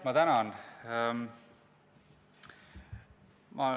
Ma tänan!